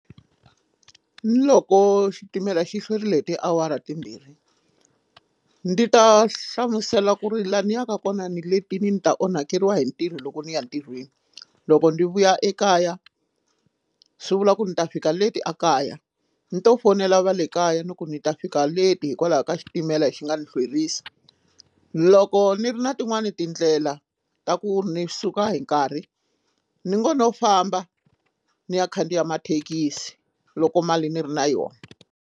Loko xitimela xi hlwerile hi tiawara timbirhi ni ta hlamusela ku ri laha ni yaka kona ni letile ni ta onhakeriwa hi ntirho loko ni ya ntirhweni loko ni vuya ekaya swi vula ku ni ta fika leti a kaya ni to fonela va le kaya ni ku ni ta fika leti hikwalaho ka xitimela lexi nga ni hlwerisa loko ni ri na tin'wani tindlela ta ku ni suka hi nkarhi ni ngo no famba ni ya khandziya mathekisi loko mali ni ri na yona.